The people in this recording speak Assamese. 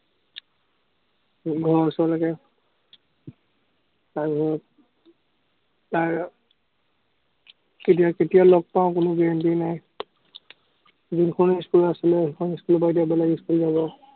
ঘৰৰ ওচৰলেকে, তাৰ পিছত, তাৰ কেতিয়া কেতিয়া লগ পাঁও, কোনো guarantee নাই। যিখন school ত আছিলে, সেইখনৰপৰা বেলেগ school ললৈ যাব।